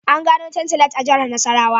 An gano Tantalite a Jihar Nasarawa